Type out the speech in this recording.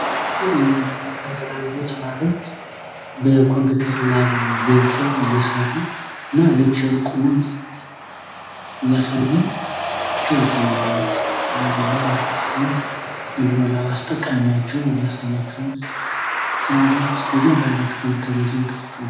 የሚያመለክተው የተለያዩ ተማሪዎች በኮምፒውተር ላብ ገብተው እየሰሩ እና ሌክቸሩ ቁሞ እያሳያቸው ይገኛል። የተለያዩ ላብ አሲስታንስ ወይም ደግሞ ላብ አስጠቃሚዎቹም እያሳዩቸው፤ ተማሪዎች በእያንዳንዳቸው ኮምፒውተር ይዘው እየተጠቀሙ።